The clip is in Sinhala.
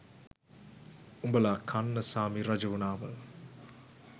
උඹල කන්නසාමි රජ වුනාම